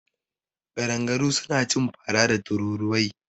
Ƙadangaru suna cin fara da tururuwai.